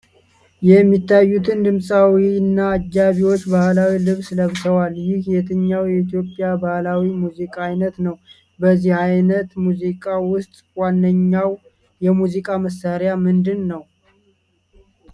የሚታዩት ድምፃዊውና አጃቢዎቹ ባህላዊ ልብስ ለብሰዋል። ይህ የትኛው የኢትዮጵያ ባህላዊ ሙዚቃ ዓይነት ነው? በዚህ ዓይነት ሙዚቃ ውስጥ ዋነኛው የሙዚቃ መሣሪያ ምንድን ነው?